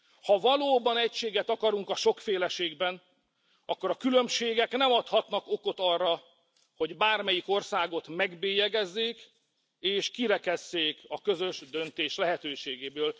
Ha valóban egységet akarunk a sokféleségben, akkor a különbségek nem adhatnak okot arra, hogy bármelyik országot megbélyegezzék, és kirekesszék a közös döntés lehetőségéből.